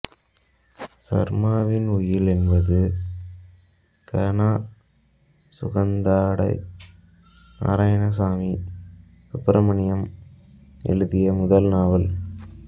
சர்மாவின் உயில் என்பது க நா சுகந்தாடை நாராயண சாமி சுப்ரமணியம் எழுதிய முதல் நாவல்